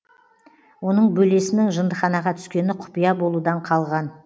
оның бөлесінің жындыханаға түскені құпия болудан қалған